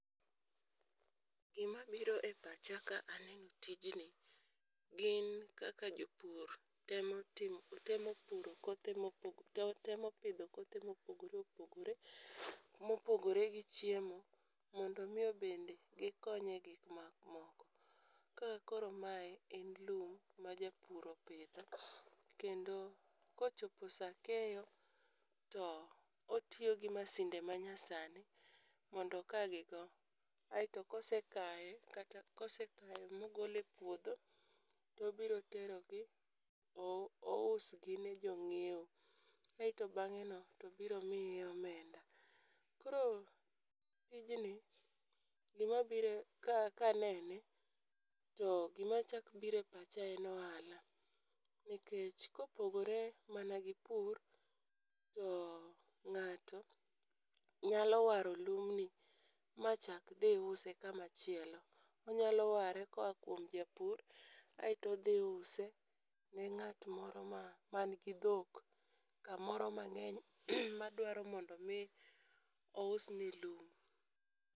Gima biro e pacha kaeno tijni gin kaka jopur temo timo temo puro kothe mopo temo pidho kothe mopogore opogore , mopogore gi chiemo mondo mi bende gikony e gik ma moko . Ka koro mae en lum ma japur opidho kendo kochopo saa keyo to otiyo gi masinde manya sani mondo oka gi go. Aeto kosekaye kata kosekaye mogole puodho tobiro terogi ou ousgi ne jong'iewo. Aeto bang'e no Tobiro miyi omenda .koro tijni gima biro e kanene to gima chak bire pacha en Ohala, nikech kopogore mana gi pur to ng'ato nyalo waro lum ni machak dhi use kama chielo. Onyalo ware koa kuom japur aeto odhi use ne ng'at moro ma man gi dhok kamoro mang'eny ma dwaro mondo mi ousne lum.